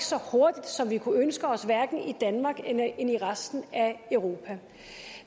så hurtigt som vi kunne ønske os hverken i danmark eller i resten af europa